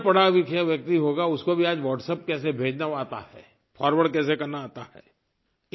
कुछ भी ना पढ़ालिखा व्यक्ति होगा उसको भी आज WhatsApp कैसे भेजना है वो आता है फॉरवर्ड कैसे करना है आता है